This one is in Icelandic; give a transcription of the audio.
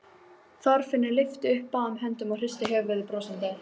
Þorfinnur lyftir upp báðum höndum og hristir höfuðið brosandi.